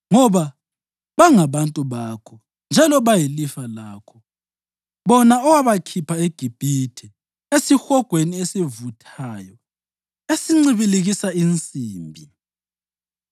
ngoba bangabantu bakho njalo bayilifa lakho, bona owabakhipha eGibhithe, esihogweni esivuthayo esincibilikisa insimbi.